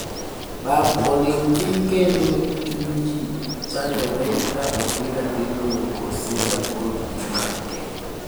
Pap oling thii kendo chubny ji chandore ka opira dhi loyo kose jagol dhi make.